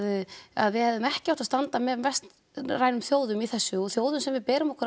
að við hefðum ekki átt að standa með vestrænum þjóðum í þessu og þjóðum sem við berum okkur